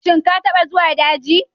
Shin ka taɓa zuwa daji?